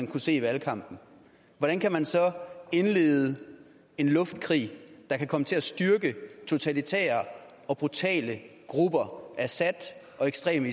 kunne se i valgkampen hvordan kan man så indlede en luftkrig der kan komme til at styrke totalitære og brutale grupper assad og ekstreme